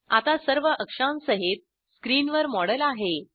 आता सर्व अक्षांसहित स्किनवर मॉडेल आहे